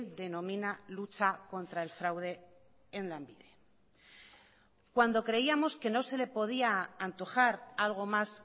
denomina lucha contra el fraude en lanbide cuando creíamos que no se le podía antojar algo más